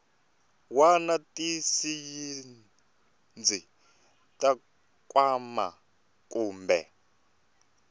wana tisayizi ta nkwama kumbe